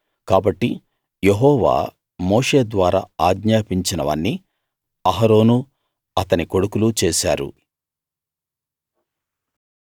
కాబట్టి Jehovah Moshe ద్వారా ఆజ్ఞాపించినవన్నీ అహరోనూ అతని కొడుకులూ చేశారు